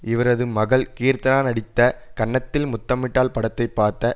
இவரது மகள் கீர்த்தனா நடித்த கன்னத்தில் முத்தமிட்டால் படத்தை பார்த்த